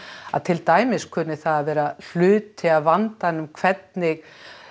að til dæmis hvernig það að vera hluti af vandanum hvernig